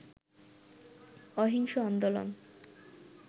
অহিংস আন্দোলন